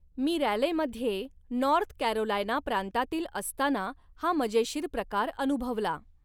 मी रॅलेमध्ये North Carolina प्रांतातील असताना हा मजेशीर प्रकार अनुभवला.